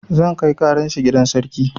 Zan kai ƙaran shi gidan sarki